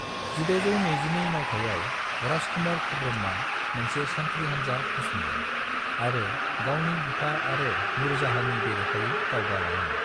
1622 मायथाइयाव राजकुमार खुर्रमआ मोनसे सान्थ्रि हानजा फसङो आरो गावनि बिफा आरो नूरजहाँनि बेरेखायै दावगा लाङो।